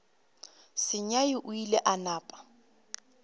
sengwai o ile a napa